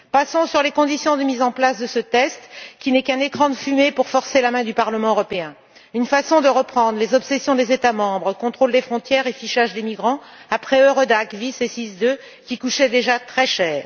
Passons sur les conditions de mise en place de ce test, qui n'est qu'un écran de fumée pour forcer la main du Parlement européen, une façon de reprendre les obsessions des États membres contrôle des frontières et fichage des migrants après Eurodac, SIS et SIS II, qui coûtaient déjà très cher.